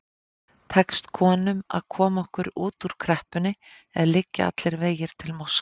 Tekst konum að koma okkur út úr kreppunni eða liggja allir vegir til Moskvu?